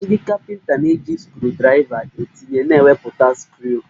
Ndị kapịnta na-eji skrudraịva etinye na ewepụta skru